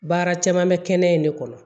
Baara caman bɛ kɛnɛ in de kɔnɔ